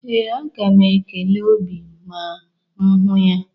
Ee, aga m ekele Obi ma m hụ ya.